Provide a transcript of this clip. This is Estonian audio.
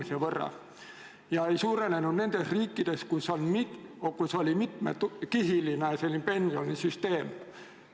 See näitaja ei suurenenud nendes riikides, kus oli mitmekihiline pensionisüsteem.